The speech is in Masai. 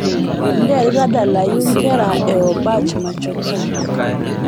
nteru tadalayu nkera e obach machoka